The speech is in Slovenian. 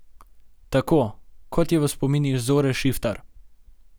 Tako, kot je v spominih Zore Šiftar ...